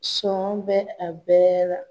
Sɔn bɛ a bɛɛ la.